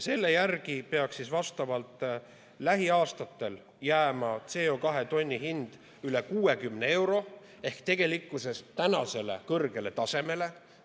Selle järgi peaks lähiaastatel jääma CO2 tonni hind üle 60 euro ehk tänasele kõrgele tasemele.